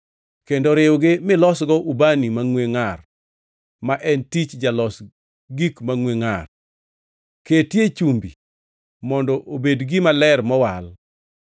kendo riwgi milosgo ubani mangʼwe ngʼar ma en tich jalos gik mangʼwe ngʼar. Ketie chumbi mondo obed gima ler mowal.